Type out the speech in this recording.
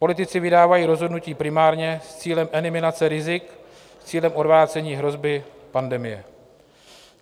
Politici vydávají rozhodnutí primárně s cílem eliminace rizik, s cílem odvrácení hrozby pandemie.